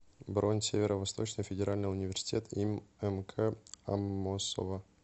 бронь северо восточный федеральный университет им мк аммосова